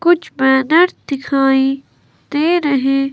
कुछ बैनर दिखाई दे रहे--